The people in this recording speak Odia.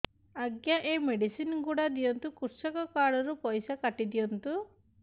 ଆଜ୍ଞା ଏ ମେଡିସିନ ଗୁଡା ଦିଅନ୍ତୁ କୃଷକ କାର୍ଡ ରୁ ପଇସା କାଟିଦିଅନ୍ତୁ